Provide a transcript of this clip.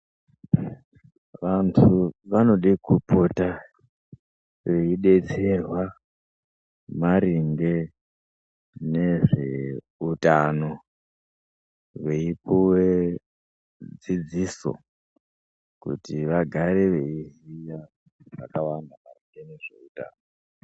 Vantu vanode kupota veidetserwa maringe nezve utano veipuwe dzidziso kuti vagare veiziya zvakawanda pamusoro pezveutano.